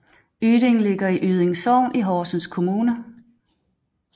Yding ligger i Yding Sogn i Horsens Kommune